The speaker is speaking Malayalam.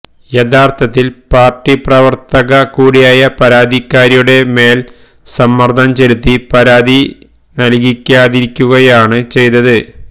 യഥാര്ഥത്തില് പാര്ട്ടി പ്രവര്ത്തക കൂടിയായ പരാതിക്കാരിയുടെ മേല് സമ്മര്ദ്ദം ചെലുത്തി പരാതി നല്കിക്കാതിരിക്കുകയാണ് ചെയ്തത്